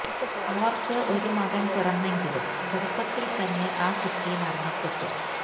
അവർക്ക് ഒരു മകൻ പിറന്നെങ്കിലും ചെറുപ്പത്തിൽ തന്നെ ആ കുട്ടി മരണപ്പെട്ടു